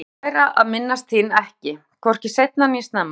Ég vildi læra að minnast þín ekki, hvorki seint né snemma.